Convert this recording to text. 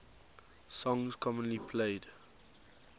songs commonly played